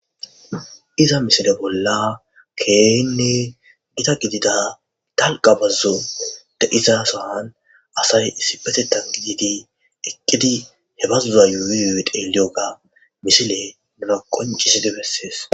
iza misile bolla keynne gida gidida dalqa bazzo de iza sahan asay issi betettan gididi eqqidi he bazuza yuyuyue deeliyoga misile nuna qonciside bessees